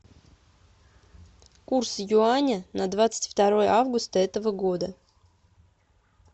курс юаня на двадцать второе августа этого года